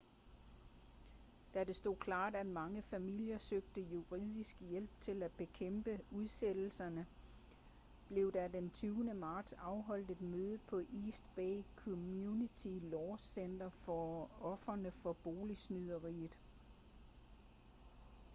da det stod klart at mange familier søgte juridisk hjælp til at bekæmpe udsættelserne blev der den 20. marts afholdt et møde på east bay community law center for ofrene for boligsnyderiet